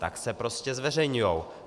Tak se prostě zveřejňují.